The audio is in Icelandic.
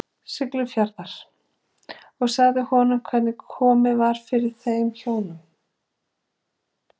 Siglufjarðar, og sagt honum hvernig komið var fyrir þeim hjónum.